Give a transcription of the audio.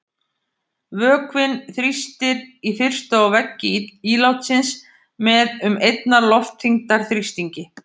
Vökvinn þrýstir í fyrstu á veggi ílátsins með um einnar loftþyngdar þrýstingi.